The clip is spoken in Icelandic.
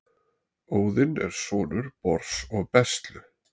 Óðinn er sonur Bors og Bestlu.